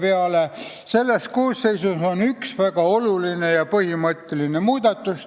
XIII koosseisu jooksul on toimunud üks väga oluline ja põhimõtteline muudatus.